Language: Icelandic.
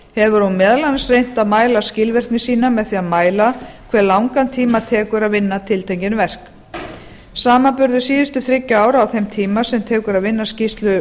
hefur hún meðal annars reynt að mæla skilvirkni sína með því að mæla hve langan tíma tekur að vinna tiltekin verk samanburður síðustu þriggja ára á þeim tíma sem tekur að vinna